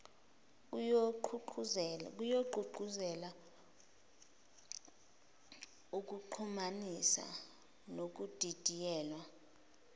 kuyogqugquzela ukuxhumanisa nokudidiyelwa